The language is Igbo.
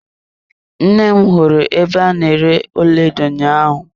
Nne m hụrụ ebe a na-ere ọlaedo ụnyaahụ.